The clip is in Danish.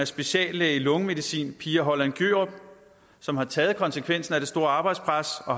speciallæge i lungemedicin pia holland gjørup som har taget konsekvensen af det store arbejdspres og